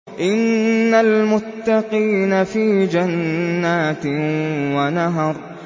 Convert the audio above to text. إِنَّ الْمُتَّقِينَ فِي جَنَّاتٍ وَنَهَرٍ